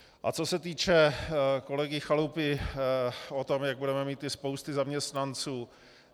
A co se týče kolegy Chalupy, o tom, jak budeme mít ty spousty zaměstnanců.